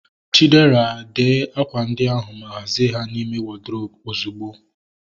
Chidera, dee akwa ndi ahu ma hazie ha n'ime wọdrobu ozugbo!